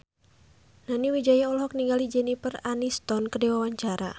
Nani Wijaya olohok ningali Jennifer Aniston keur diwawancara